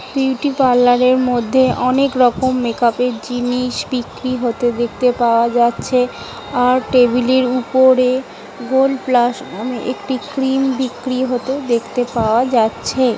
beauty -parlour এর মধ্যে অনেক রকম মেকাপ -এর জিনিস বিক্রি হতে দেখতে পাওয়া যাচ্ছে | আর টেবিলের উপরে গোল্ড -প্লাস একটি ক্রিম বিক্রি হতে দেখতে পাওয়া যাচ্ছে